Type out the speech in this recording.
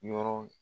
Yɔrɔ